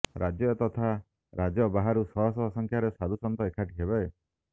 ରାଜ୍ୟ ତଥା ରାଜ୍ୟ ବାହାରୁ ଶହ ଶହ ସଂଖ୍ୟାରେ ସାଧୁସନ୍ଥ ଏକାଠି ହେବେ